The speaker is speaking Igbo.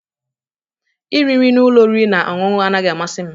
Iri nri na ụlọ oriri na ọṅụṅụ anaghị amasị m.